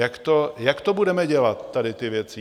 Jak to budeme dělat, tady ty věci?